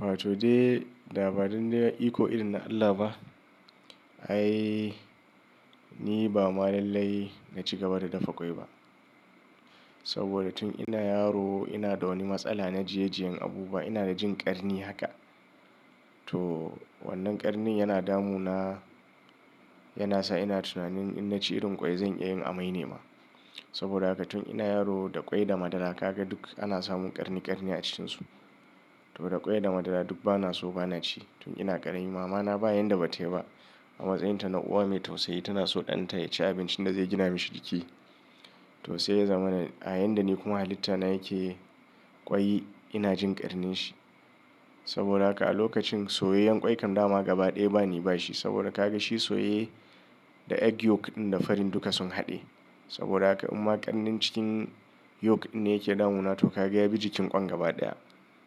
Wato dai labarin na iko irin na Allah ba. Ai ni ba malallai na ci gaba da dafa kwai ba. Saboda tun ina yaro ina da wani matsala na jiyen jiyen abubuwa. Ina da jin ƙarni haka. To wannan ƙarni yana damu na, yana sa ina tunanin in na ci irin ƙwai zan iya yin amai ne ma. Saboda haka tun ina yaro da kwai da madara ka ga duk ana samun ƙarni ƙarni a cikinsu. To da kwai da madara duk bana so bana ci tun ina ƙarami. Mama na ba yanda bata yi ba. A matsayin ta na uwa mai tausayi tana so ɗan ta ya ci abincin da zai gina shi jiki. To sai ya zamana a ni kuma halitta na yake kwai ina jin ƙarni shi. Saboda haka a lokacin soyeyen ƙwai kam dama gaba ɗaya bani ba shi. Saboda ka ga shi soyeye da egg yolk ɗin da farin dukka sun haɗe. Saboda haka in ma ƙarni cikin yolk ne yake damu na to ka ga ya bi jikin ƙwan gaba ɗaya.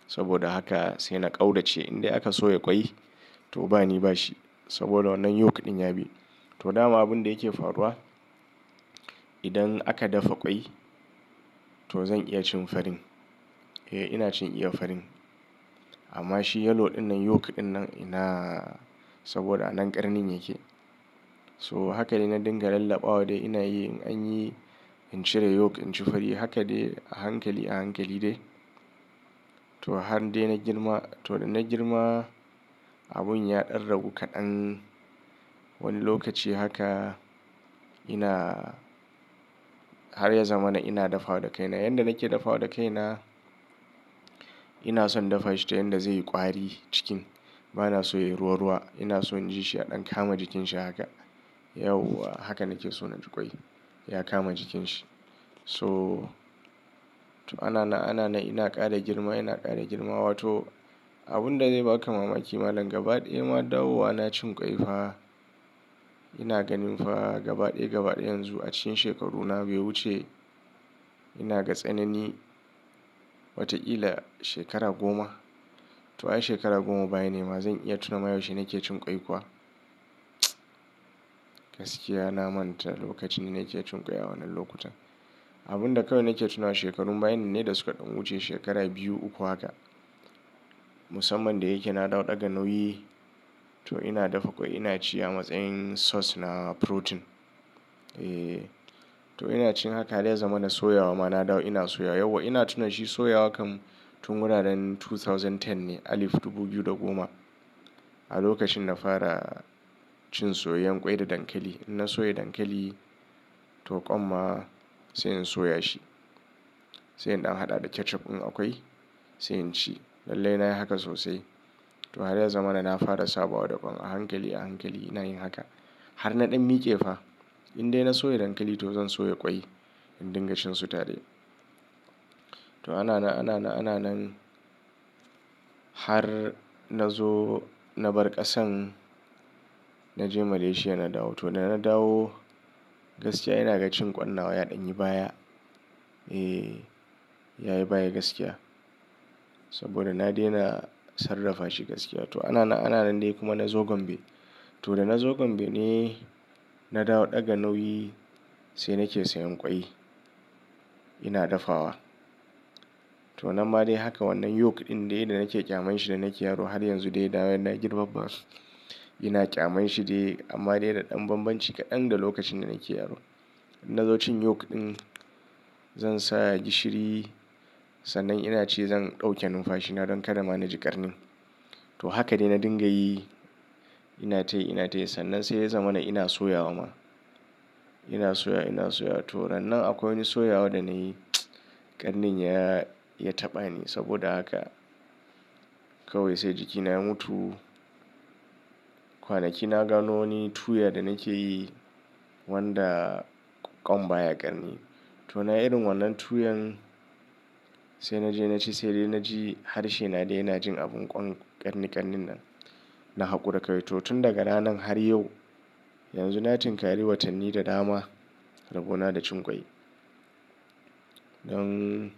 Saboda haka sai na ƙaudace in dai aka soya ƙwai to bani ba shi. Saboda wannan yolk ɗin ya bi. To dama abun da yake faruwa idan aka dafa ƙwai to zan iya cin farin. Eh ina cin iya farin amma shi yellow ɗinnan yolk ɗinnan ina saboda a nan ƙarni yake. To haka dai na dinga lallaɓawa dai ina yi in an yi in cire yolk, in ci fari. Haka dai a hankali a hankali dai. To har dai na girma to da na girma abun ya ƙarragu kaɗan. Wani lokaci haka ina har ya zama na ina dafawa da kai na. Yan da nake dafawa da kai na ina son dafa shi ta yan da zai yi ƙwari cikin. Bana so ya yi ruwa ruwa. Ina so in ji shi ya ɗan kama jikin shi haka. Yauwa haka nake so na ci ƙwai. Ya kama jikin shi. So anana anana ina ƙara girma ina ƙara girma. Wato abun da zai baka mamaki malam gaba ɗaya ma dawowana cin ƙwai fa. Ina ganin fa gaba ɗaya gaba ɗaya yanzu a cikin shekaru na biyu wuce ina gatsanin wata kila shekara goma. To ai shekara goma bayanai ma zan iya tuna ma yaushe nake cin ƙwai kuwa? Gaskiya na manta lokaci nake cin ƙwai a wannan lokutan. Abun da kawai nake tunawa shekarun bayanin ne da suka ɗan wuce shekara biyu uku haka. Musamman da yake na dawo daga Nauyi to ina dafa ƙwai ina ci a matsayin source da protein. Eh to ina cin haka dai ya zama na soya wa ma na dawo ina soya. Yauwa ina tuna shi soya wa kam tun muna ran 2010 ne alif dubu biyu da goma. A lokacin na fara cin soyeyrn ƙwai da dankali. In na soya dankali to ƙwan ma sai in soya shi. Sai in ɗan haɗa da ketchup in akwai sai in ci. Lallai na yi haka sosai. To har ya zama na fara sabawa da ƙwan a hankali a hankali ina yin haka. Har na ɗan miƙe fa in dai na soya dankali to zan soya ƙwai in dinga shnnsu tare. To anana anana ananan har na zo na bar ƙasan na je Malaysia na dawo. To da na dawo gaskiya ina ga cin ƙwan na ya ɗan yi baya. Eh ya yi baya gaskiya. Saboda na daina sarrafa shi gaskiya. To anana ananan dai kuma na zo Gombe. To da na zo Gombe ne na dawo ɗaga nauyi sai nake sayan ƙwai ina dafawa. To nan ma de haka wannan yolk ɗin dai da nake ƙyaman shi da nake yaro har yanzu dai da wain na girma ba. Ina ƙyaman shi dai amma dai da ɗan banbanci kaɗan da lokacin da nake yaro. Na zo cin yolk ɗin zan sa gishiri sannan ina ci zan ɗauke numfashi na don karama na ji ƙarni. To haka dai na dinga yi ina tayi ina tayi sannan sai ya zama na ina soya wa ma. Ina soya ina soya to rannan akwai wani soya wa da nayi ƙarni ya ya taɓa ni saboda haka kawai sai jiki na mutu. Kwanaki na gano wani tuya da nake yi wanda ƙwan baya ƙarni. To na irin wannan tuyan sai na je na ci sai dai na ji harshe na dai yana jin abun ƙwan ƙarni ƙarnin nan. Na haƙura kai to tun daga ranan har yau yanzu na yi tinkari watanni da dama rabuwa na da cin ƙwai. Don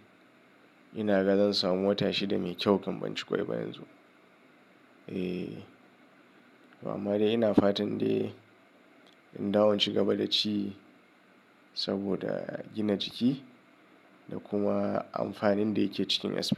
ina ga zan samu wata shi da mai kyau kam ban ci ƙwai ba yanzu. Eh ba ma dai ina fatan dai in dawo ci gaba da ci saboda gina jiki da kuma amfanin da yake cikin asali.